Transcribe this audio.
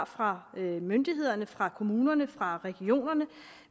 fra myndighederne fra kommunerne fra regionerne